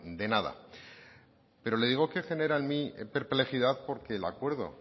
de nada pero le digo que genera en mí perplejidad porque el acuerdo